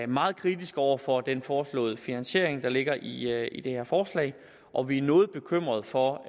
meget kritiske over for den foreslåede finansiering der ligger i i det her forslag og vi er noget bekymret for